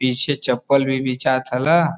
पीछे चप्पल भी बिचात हला। .